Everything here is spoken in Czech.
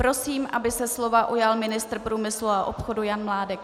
Prosím, aby se slova ujal ministr průmyslu a obchodu Jan Mládek.